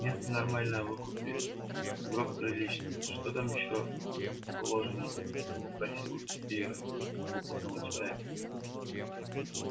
место нормальное выкупить гроб приличный что там ещё положено спросить у тёти иры опытного человека